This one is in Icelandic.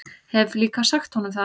Hef líka sagt honum það.